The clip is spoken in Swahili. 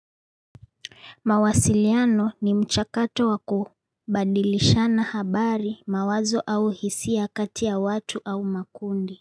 Mawasiliano ni mchakato waku badilishana habari mawazo au hisia kati ya watu au makundi.